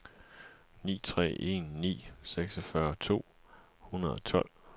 ni tre en ni seksogfyrre to hundrede og tolv